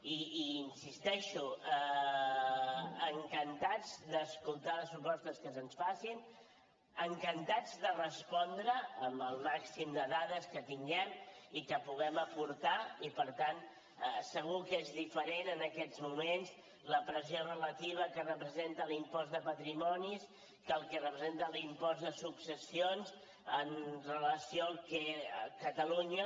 i hi insisteixo encantats d’escoltar les propostes que se’ns facin encantats de respondre amb el màxim de dades que tinguem i que puguem aportar i per tant segur que és diferent en aquests moments la pressió relativa que representa l’impost de patrimonis que el que representa l’impost de successions amb relació al que catalunya